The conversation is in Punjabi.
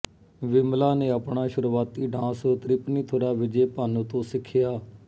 ਵਿਮਲਾ ਨੇ ਆਪਣਾ ਸ਼ੁਰੂਆਤੀ ਡਾਂਸ ਤ੍ਰਿਪੁਨੀਥੁਰਾ ਵਿਜੇ ਭਾਨੂ ਤੋਂ ਸਿੱਖਿਆ